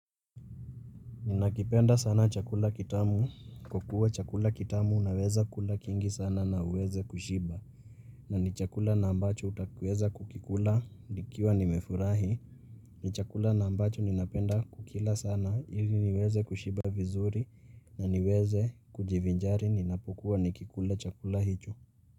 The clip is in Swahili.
Ninakipenda sana chakula kitamu. Kwa kuwa chakula kitamu unaweza kula kingi sana na uweze kushiba. Na ni chakula na ambacho utaweza kukikula. Nikiwa ni nimefurahi. Ni chakula na ambacho ninapenda kukila sana. Ili niweze kushiba vizuri na niweze kujivinjari. Ninapokua nikikula chakula hicho.